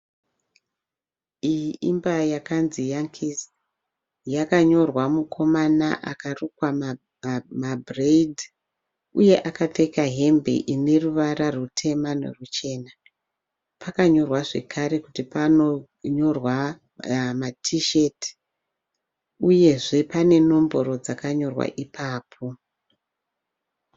Iyi imba yakanzi Yankees. Yakanyorwa mukoma akarukwa mabureidzi uye akapfeka hembe ine ruvara rutema neruchena. Pakanyorwa zvakare kuti panonyorwa ma T shirt. Uyezve pane nomboro dzakanyorwa ipapo.